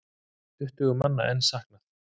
Tuttugu manna er enn saknað.